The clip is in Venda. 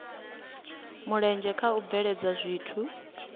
mulenzhe kha u bveledza zwithu